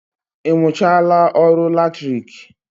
Ị mụchaala ọrụ latriki?